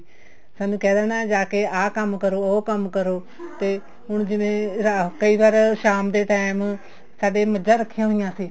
ਸਾਨੂੰ ਕਹਿ ਦੇਣਾ ਜਾ ਆਹ ਕੰਮ ਕਰੋ ਉਹ ਕੰਮ ਕਰੋ ਤੇ ਹੁਣ ਜਿਵੇਂ ਕਈ ਵਾਰ ਸ਼ਾਮ ਦੇ ਟੇਮ ਸਾਡੇ ਮੱਝਾ ਰੱਖੀਆਂ ਹੁੰਦੀਆਂ ਸੀ